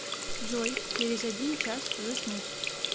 джой через один час заснуть